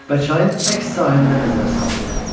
Və çayın əks sahilinə nəzər saldı.